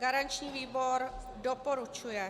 Garanční výbor doporučuje.